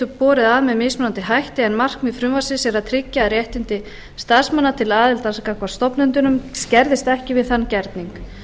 borið að með mismunandi hætti en markmið frumvarpsins er að tryggja að réttindi starfsmanna til aðildar gagnvart stofnendunum skerðist ekki við þann gerning